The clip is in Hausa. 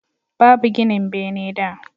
Babu ginin bene da